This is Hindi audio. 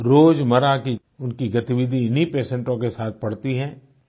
रोजमर्रा की उनकी गतिविधि इन्ही पेशोंटो पेशेंट्स के साथ पड़ती है